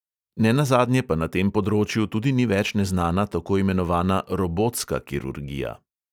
Nenazadnje pa na tem področju tudi ni več neznana tako imenovana robotska kirurgija.